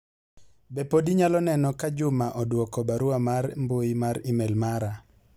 be pod inyalo neno ka Juma odwoko barua mar mbui mar email mara